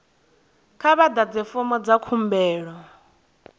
kha vha ḓadze fomo dza khumbelo